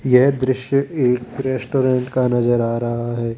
यह दृश्य एक रेस्टोरेंट का नजर आ रहा है।